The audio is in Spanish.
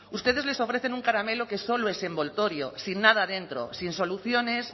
ustedes les ofrecen un caramelo que solo es envoltorio sin nada dentro sin soluciones